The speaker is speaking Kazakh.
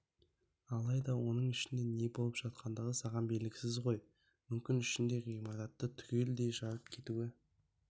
алайда оның ішінде не болып жатқандығы саған белгісіз ғой мүмкін ішінде ғимаратты түгелдей жарып кетуі